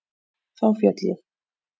Þá féll ég.